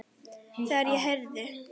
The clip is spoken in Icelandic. Þegar ég heyrði